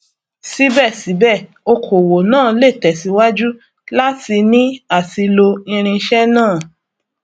síbẹsíbẹ okòwò náà lè tẹsíwájú láti ní àti lo irinṣẹ náà